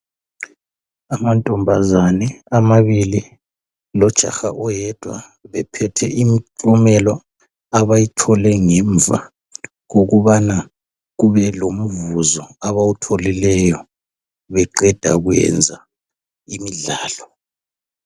amantombazane amabili lojaha oyedwa bephethe imiklumelo abayithole ngemva kokuba kube lomvuzo abawutholileyo beqeda kwenza imidlalo